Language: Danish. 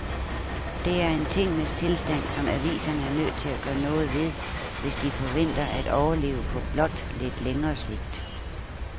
Det er en tingenes tilstand, som aviserne er nødt til at gøre noget ved, hvis de forventer at overleve på blot lidt længere sigt.